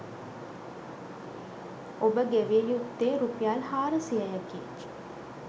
ඔබ ගෙවිය යුත්තේ රුපියල් හාරසියයකි.